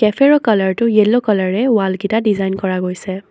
কেফেৰ কালাৰটো য়েল্লো কালাৰেৰে ৱালকেইটা ডিজাইন কৰা হৈছে।